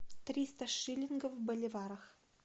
триста шиллингов в боливарах